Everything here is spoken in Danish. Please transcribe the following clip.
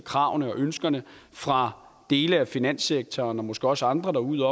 kravene og ønskerne fra dele af finanssektoren og måske også andre derude